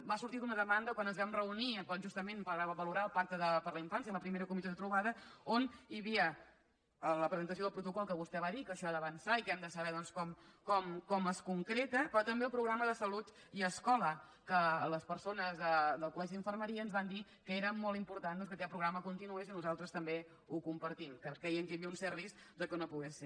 va sortir d’una demanda quan ens vam reunir justament per valorar el pacte per a la infància en la primera comissió de trobada on hi havia la presentació del protocol que vostè va dir que això ha d’avançar i que hem de saber doncs com es concreta però també el programa de salut i escola que les persones del col·molt important doncs que aquest programa continués i nosaltres també ho compartim creien que hi havia un cert risc que no pogués ser